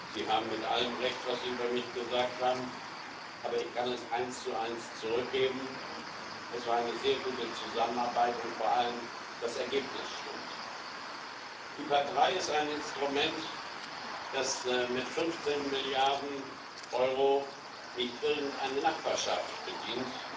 Sie haben mit allem recht, was Sie über mich gesagt haben, aber ich kann es eins zu eins zurückgeben Es war eine sehr gute Zusammenarbeit, und vor allem das Ergebnis stimmt. IPA III ist ein Instrument, das mit 15 Milliarden Euro nicht irgendeine Nachbarschaft bedient.